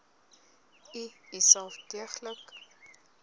u uself deeglik